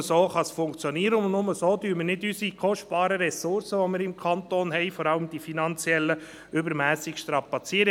Nur so kann es funktionieren, und nur so werden wir nicht die kostbaren Ressourcen im Kanton Bern – vor allem die finanziellen – übermässig strapazieren.